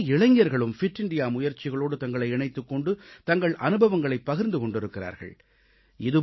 பல இளைஞர்களும் fit India முயற்சிகளோடு தங்களை இணைத்துக் கொண்டு தங்கள் அனுபவங்களைப் பகிர்ந்து கொண்டிருக்கிறார்கள்